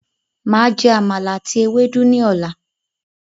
Màá jé àmàlà àti ewédú ní ọ̀là.